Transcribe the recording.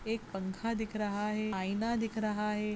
एक पंखा दिख रहा है। आयना दिख रहा है।